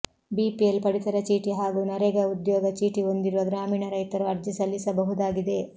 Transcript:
BPL ಪಡಿತರ ಚೀಟಿ ಹಾಗೂ ನರೇಗಾ ಉದ್ಯೋಗ ಚೀಟಿ ಹೊಂದಿರುವ ಗ್ರಾಮೀಣ ರೈತರು ಅರ್ಜಿ ಸಲ್ಲಿಸಬಹುದಾಗಿದೆ